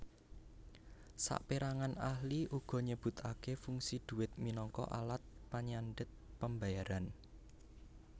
Sapérangan ahli uga nyebutaké fungsi dhuwit minangka alat panyandhet pambayaran